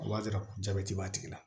O b'a yira ko jabɛti b'a tigi la